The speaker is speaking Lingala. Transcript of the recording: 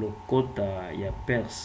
lokota ya perse